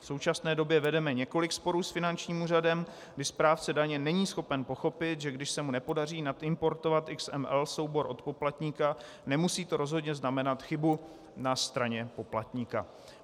V současné době vedeme několik sporů s finančním úřadem, kdy správce daně není schopen pochopit, že když se mu nepodaří naimportovat XML soubor od poplatníka, nemusí to rozhodně znamenat chybu na straně poplatníka.